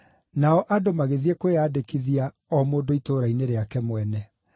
Nao andũ magĩthiĩ kwĩyandĩkithia o mũndũ itũũra-inĩ rĩake mwene.